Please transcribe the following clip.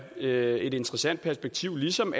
et interessant perspektiv ligesom